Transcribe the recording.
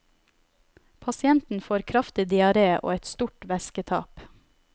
Pasienten får kraftig diaré og et stort væsketap.